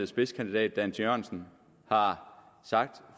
spidskandidat dan jørgensen har sagt